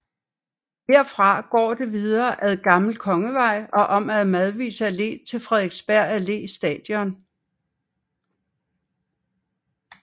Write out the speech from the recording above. Herefter går det videre ad Gammel Kongevej og om ad Madvigs Allé til Frederiksberg Allé Station